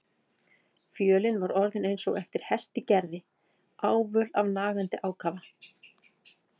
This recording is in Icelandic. Fjölin var orðin eins og eftir hest í gerði, ávöl af nagandi ákafa.